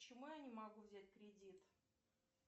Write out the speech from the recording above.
почему я не могу взять кредит